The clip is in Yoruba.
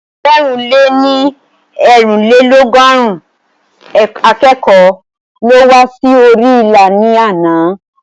Ẹgbẹ̀rún lè ní eerinlelogọrun akẹ́kọ̀ọ́ ló wá sí orí ilà ní àná